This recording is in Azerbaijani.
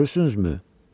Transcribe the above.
"Görürsünüzmü?